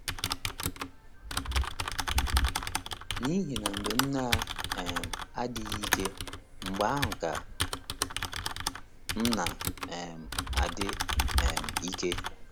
N’ihi na mgbe m na um - adịghị ike, mgbe ahụ ka m na - um adị um ike. ”